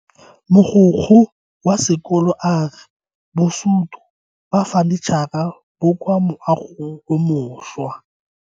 Mogokgo wa sekolo a re bosuto ba fanitšhara bo kwa moagong o mošwa.